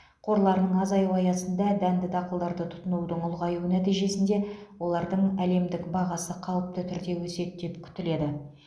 қорларының азаюы аясында дәнді дақылдарды тұтынудың ұлғаюы нәтижесінде олардың әлемдік бағасы қалыпты түрде өседі деп күтіледі